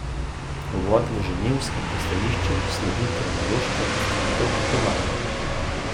Uvodu v genovskem pristanišču sledi kronološka predstavitev potovanja.